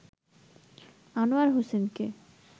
আনোয়ার হোসেনকে